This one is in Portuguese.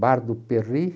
Bar do Perri?